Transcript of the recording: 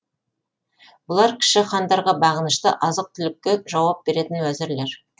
бұлар кіші хандарға бағынышты азық түлікке жауап беретін уәзірлер